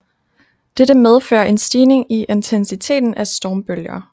Dette medfører en stigning i intensiteten af stormbølger